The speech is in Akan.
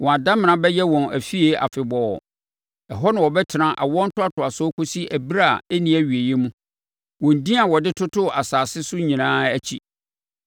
Wɔn adamena bɛyɛ wɔn afie afebɔɔ. Ɛhɔ na wɔbɛtena awoɔ ntoatoasoɔ kɔsi ɛberɛ a ɛnni awieeɛ mu, wɔn din a wɔde totoo nsase so nyinaa akyi.